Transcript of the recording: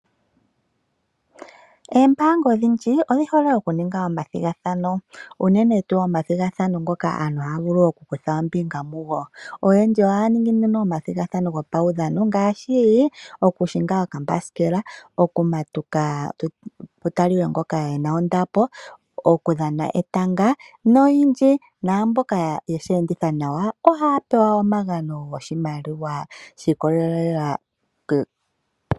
Oombanga odhindji odhi hole oku ninga omathigathano uunene tu omathigathano ngoka aantu ha vulu oku kutha ombinga mugo. Oyendji oha ningi omathigathano gopawudhano ngaashi okuhinga okambasikela, okumatuka pu talike ngoka ena ondapo, okudhana etanga noyindji namboka yeshi enditha nawa oha pewa omagano goshimaliwa shiikolelela k.